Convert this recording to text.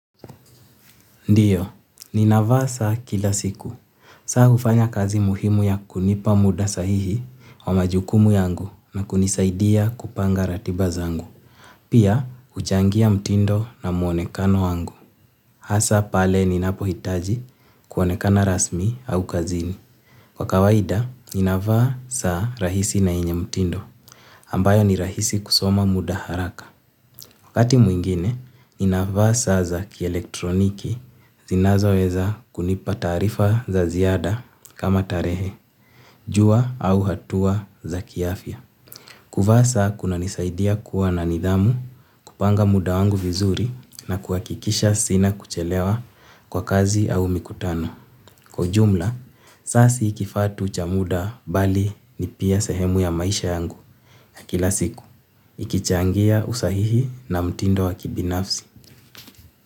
Ndio, ninavaa saa kila siku. Saa hufanya kazi muhimu ya kunipa muda sahihi wa majukumu yangu na kunisaidia kupanga ratiba zangu. Pia, huchangia mtindo na muonekano wangu. Hasa pale ninapohitaji kuonekana rasmi au kazini. Kwa kawaida, ninavaa saa rahisi na yenye mtindo. Ambayo ni rahisi kusoma muda haraka. Wakati mwingine, ninavaa saa za kielektroniki zinazoweza kunipa taarifa za ziada kama tarehe, jua au hatua za kiafya. Kuvaa saa kunanisaidia kuwa na nidhamu, kupanga muda wangu vizuri na kuhakikisha sina kuchelewa kwa kazi au mikutano. Kwa ujumla, saa si kifaa tu cha muda bali ni pia sehemu ya maisha yangu kila siku. Ikichangia usahihi na mtindo wa kibinafsi.